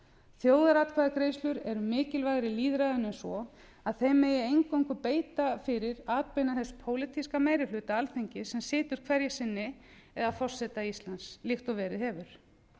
þjóðaratkvæðagreiðslur eru mikilvægari lýðræðinu en svo að þeim megi eingöngu beita fyrir atbeina þess pólitíska meiri hluta alþingis sem situr hverju sinni eða forseta íslands líkt og verið hefur